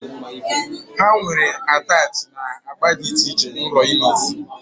Ha nwere attachị na agba dị iche iche na ụlọ ime isi